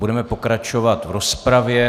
Budeme pokračovat v rozpravě.